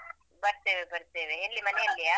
ಬರ್ತೇವೆ ಬರ್ತೇವೆ ಎಲ್ಲಿ ಮನೆಯಲ್ಲಿಯ?